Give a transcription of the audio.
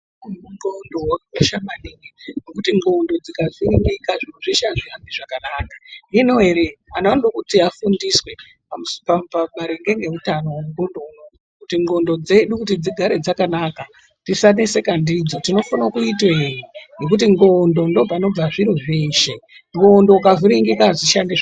Utano hwendxondo hwakakosha maningi ngekuti ndxondo dzikavhiringika zviro zveshe hazvihambi zvakanaka. Hino ere antu anoda kuti afundiswe pamaringe ngeutano hwendxondo unouyu. Kuti ndxondo dzedu kuti dzigare dzakanaka tisaneseka ndidzo tinofana kuite ngekuti ndxondo ndopanobva zviro zveshe ndxondo ukavhiringika hadzishandi zvakanaka.